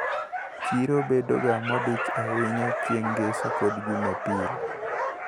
Chiro bedoga modich ahinya chieng` ngeso kod jumapil.